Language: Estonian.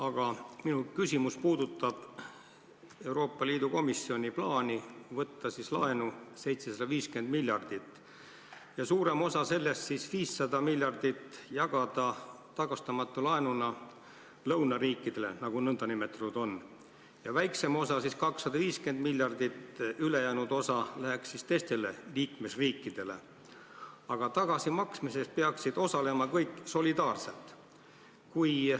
Aga minu küsimus puudutab Euroopa Liidu Komisjoni plaani võtta 750 miljardit laenu ning jagada suurem osa sellest, 500 miljardit, tagastamatu laenuna nn lõunariikidele ja väiksem osa, 250 miljardit, teistele liikmesriikidele, kuid tagasimaksmises peaksid kõik osalema solidaarselt.